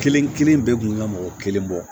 Kelen kelen bɛɛ kun ka mɔgɔ kelen bɔ